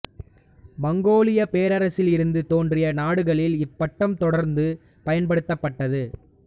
மங்கோலியப் பேரரசில் இருந்து தோன்றிய நாடுகளில் இப்பட்டம் தொடர்ந்து பயன்படுத்தப்பட்டது